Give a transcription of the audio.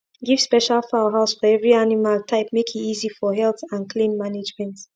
give special fowl house for every animal type make e easy for health and clean mangement